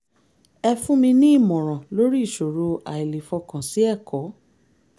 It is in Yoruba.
ẹ fún mi ní ìmọ̀ràn lórí ìṣòro àìlèfọkàn sí ẹ̀kọ́